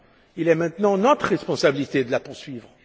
Il est à présent de notre responsabilité de la poursuivre.